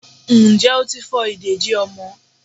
njẹ otí fo ìdédi ọmọ